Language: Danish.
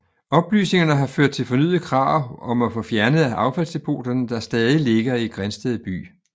Oplysningerne har ført til fornyede krav om at få fjernet affaldsdepoterne der stadig ligger i Grindsted by